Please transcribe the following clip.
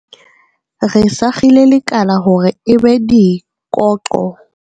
Re sakgile lekala hore e be dikoqo.